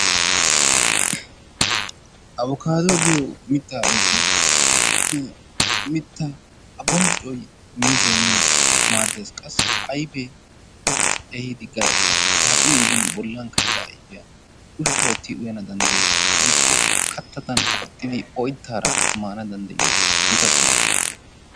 Abbokkaaduwa giyo mittaa ayfee mittaa a bonccoy miizzay miin maaddees, qassi ayfee kaaxin gidin bollan ka'ida ayfiya ushshaa ootti uyana danddayees, woykko kattada qoxxidi oytaara maana danddayiyo gita qumma.